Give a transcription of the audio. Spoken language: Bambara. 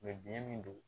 biɲɛ min don